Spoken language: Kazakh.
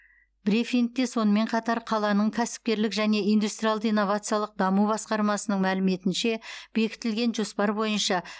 брифингте сонымен қатар қаланың кәсіпкерлік және индустриалды инновациялық даму басқармасының мәліметінше бекітілген жоспар бойынша